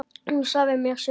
Hún sagði mér sögur.